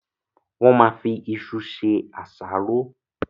Wọ́n ma fi isu se àsáró.